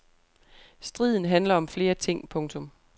Striden handler om flere ting. punktum